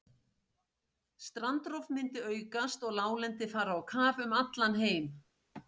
Strandrof myndi aukast og láglendi fara á kaf um allan heim.